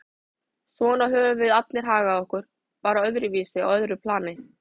Svona höfðum við allir hagað okkur, bara öðruvísi, á öðru plani.